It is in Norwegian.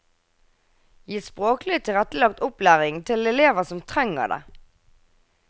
Gi språklig tilrettelagt opplæring til elever som trenger det.